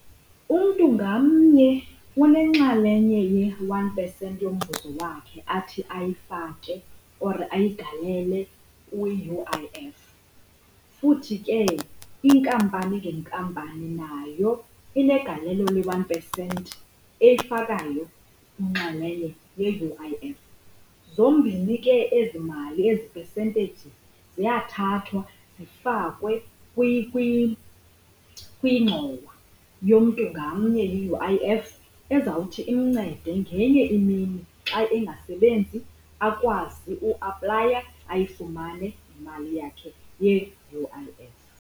Umntu ngamnye unenxalenye ye-one percent yomvuzo wakhe athi ayifake or ayigalele kwi-U_I_F, futhi ke inkampani ngenkampani nayo inegalelo le-one percent eyifakayo inxalenye ye-U_I_F. Zombini ke ezi mali, ezi percentage ziyathathwa zifakwe kwingxowa yomntu ngamnye ye-U_I_F ezawuthi imncede ngenye imini xa engasebenzi akwazi uaplaya ayifumane imali yakhe ye-U_I_F.